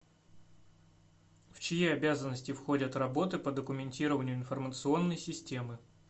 в чьи обязанности входят работы по документированию информационной системы